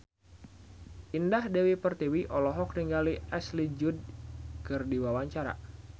Indah Dewi Pertiwi olohok ningali Ashley Judd keur diwawancara